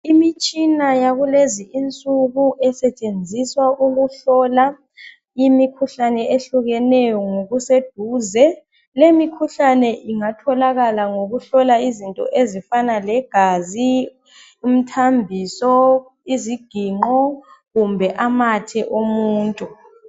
Imitshina yakulezi insuku esetshenziswa ukuhlola imikhuhlane ehlukeneyo ngokuseduze. Lemikhuhlane ingatholakala ngokuhlola izinto ezifana legazi, umthambiso ,iziginqo kumbe amathe omuntu.